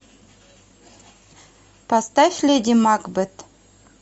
поставь леди макбет